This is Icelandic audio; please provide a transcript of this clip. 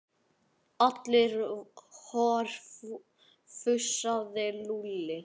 Halli hor fussaði Lúlli.